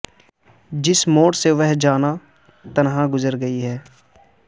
جس موڑ سے وہ جاناں تنہا گزر گئی ہے